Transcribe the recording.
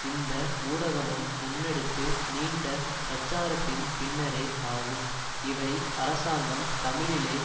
இந்த ஊடகமும் முன்னெடுத்து நீண்ட பிரச்சாரத்தின் பின்னரே ஆகும் இவை அரசாங்கம் தமிழிழே